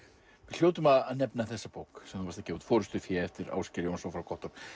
hljótum að nefna þessa bók sem þú varst að gefa út forystufé eftir Ásgeir Jónsson frá Gottorp